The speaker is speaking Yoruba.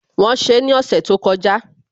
Wọ́n ṣe ní ọ̀sẹ̀ tó kọjá